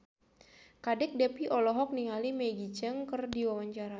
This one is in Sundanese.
Kadek Devi olohok ningali Maggie Cheung keur diwawancara